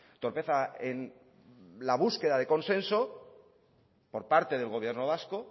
torpeza en la búsqueda de consenso por parte del gobierno vasco